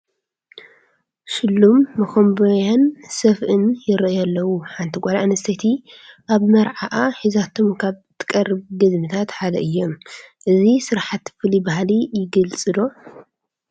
ሽሉም መኾምቢያን ሰፍእን ይርአዩ ኣለዉ፡፡ ሓንቲ ጓል ኣነስተይቲ ኣብ መርዓዓ ሒዛቶም ካብ ትቐርብ ገዝምታት ሓደ እዮም፡፡ እዞም ስራሕቲ ፍሉይ ባህሊ ይገልፁ ዶ?